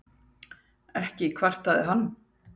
Ekki kvartaði hann.